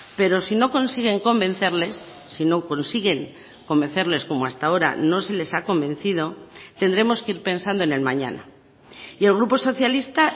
pero si no consiguen convencerles si no consiguen convencerles como hasta ahora no se les ha convencido tendremos que ir pensando en el mañana y el grupo socialista